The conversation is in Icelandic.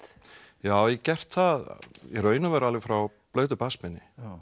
já ég gert það í raun og veru alveg frá blautu barnsbeini